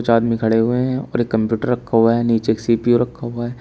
आदमी खड़े हुए हैं और एक कंप्यूटर रखा हुआ है नीचे एक सी_पी_यू रखा हुआ है।